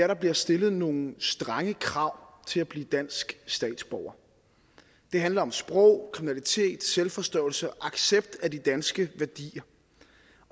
der bliver stillet nogle strenge krav til at blive dansk statsborger det handler om sprog kriminalitet selvforståelse og accept af de danske værdier